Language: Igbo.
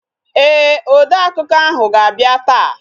Ee, odeakụkọ ahụ ga-abịa taa